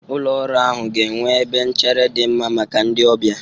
Ụlọ ọrụ ahụ ga-enwe ebe nchere dị mma maka ndị ọbịa.